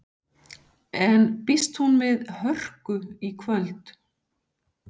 En býst hún við hörku í kvöld?